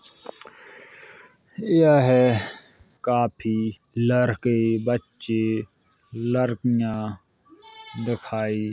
यह काफी लरके- बच्चे लड़कियां देखाई --